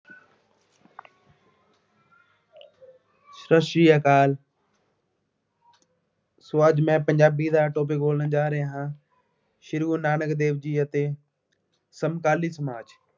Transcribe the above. ਸਤਿ ਸ਼੍ਰੀ ਅਕਾਲ so ਅੱਜ ਮੈਂ ਪੰਜਾਬੀ ਦਾ topic ਬੋਲਣ ਜਾ ਰਿਹਾ ਹਾਂ, ਸ਼੍ਰੀ ਗੁਰੂ ਨਾਨਕ ਦੇਵ ਜੀ ਅਤੇ ਸਮਕਾਲੀ ਸਮਾਜ।